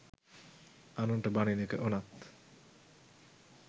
අනුන්ට බනින එක උනත්